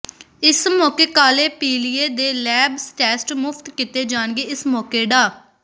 ਇਸ ਮੌਕੇ ਕਾਲੇ ਪੀਲੀਏ ਦੇ ਲੈਬ ਟੈਸਟ ਮੁਫ਼ਤ ਕੀਤੇ ਜਾਣਗੇ ਇਸ ਮੌਕੇ ਡਾ